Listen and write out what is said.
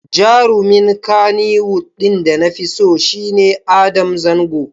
Jarumin Kannywood ɗin da nafi so shi ne Adam Zango.